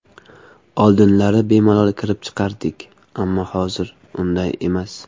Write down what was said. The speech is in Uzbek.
Oldinlari bemalol kirib chiqardik, ammo hozir unday emas.